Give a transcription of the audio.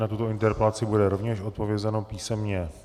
Na tuto interpelaci bude rovněž odpovězeno písemně.